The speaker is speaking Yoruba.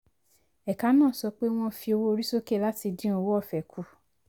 ẹ̀ka náà sọ pé wọ́n fi owó orí sókè láti dín owó ọ̀fẹ́ kù.